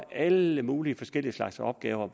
alle mulige forskellige slags opgaver